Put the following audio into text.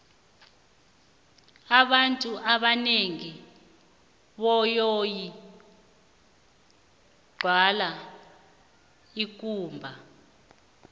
abantu ebanengi boyoyi gwala ikumba